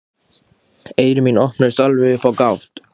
Eyru mín opnuðust alveg upp á gátt.